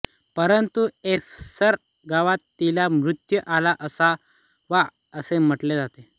परंतु एफेसस गावात तिला मृत्यू आला असावा असे म्हटले जाते